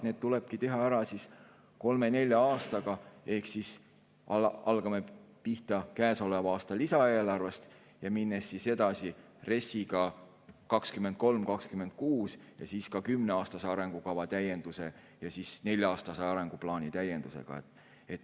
Need tulebki teha ära kolme-nelja aastaga, ehk hakkame pihta käesoleva aasta lisaeelarvest ja läheme edasi RES‑iga 2023–2026 ja siis ka kümneaastase arengukava täienduse ja nelja-aastase arenguplaani täiendusega.